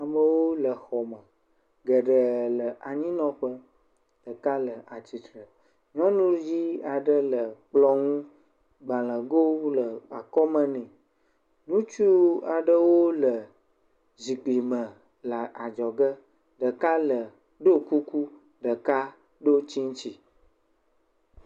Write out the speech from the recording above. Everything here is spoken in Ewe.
Amewo le xɔme, geɖee le anyinɔƒe, ɖeka le atsitre, nyɔnuvi aɖe le kplɔ ŋu gbalegowo le akɔme nɛ. Ŋutsu aɖewo le adzɔ ge, ɖeka ɖo kukiu ɖeka ɖo tsiŋtsi.